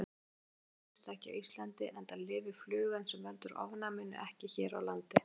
Sjúkdómurinn finnst ekki á Íslandi enda lifir flugan sem veldur ofnæminu ekki hér á landi.